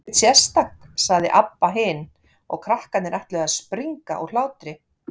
Ekkert sérstakt, sagði Abba hin, og krakkarnir ætluðu að springa úr hlátri.